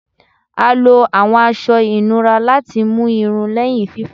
A lo awọn aṣọ inura lati mu irun lẹhin fifọ